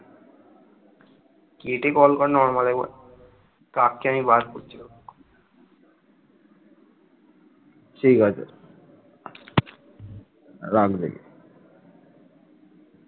ঠিক আছে ।